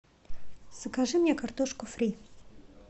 закажи мне картошку фри